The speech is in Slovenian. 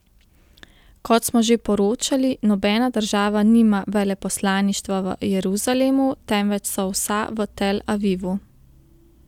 Kot smo že poročali, nobena država nima veleposlaništva v Jeruzalemu, temveč so vsa v Tel Avivu.